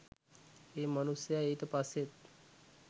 ඒ මනුස්සයා ඊට පස්සෙත්